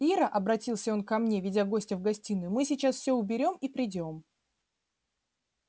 ира обратился он ко мне веди гостя в гостиную мы сейчас все уберём и придём